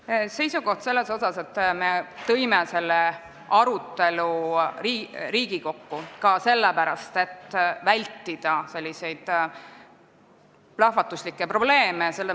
Ma kooskõlastasin enne väliskomisjoni esimehega selle seisukoha, et me tõime selle arutelu Riigikokku ka sellepärast, et selliseid plahvatuslikke probleeme vältida.